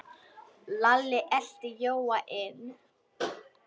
Lalli elti Jóa inn.